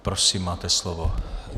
Prosím, máte slovo.